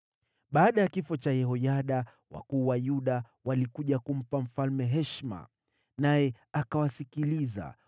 Baada ya kifo cha Yehoyada, wakuu wa Yuda walikuja kumpa mfalme heshima, naye akawasikiliza.